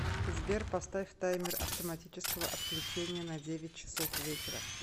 сбер поставь таймер автоматического отключения на девять часов вечера